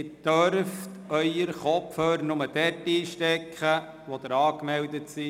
Sie dürfen Ihre Kopfhörer nur dort einstecken, wo Sie angemeldet sind.